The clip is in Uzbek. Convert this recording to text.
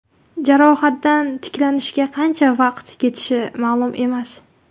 Jarohatdan tiklanishga qancha vaqat ketishi ma’lum emas.